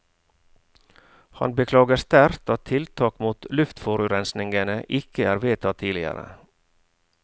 Han beklager sterkt at tiltak mot luftforurensningene ikke er vedtatt tidligere.